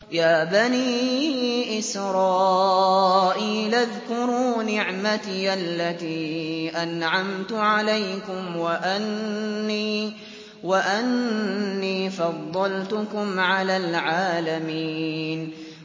يَا بَنِي إِسْرَائِيلَ اذْكُرُوا نِعْمَتِيَ الَّتِي أَنْعَمْتُ عَلَيْكُمْ وَأَنِّي فَضَّلْتُكُمْ عَلَى الْعَالَمِينَ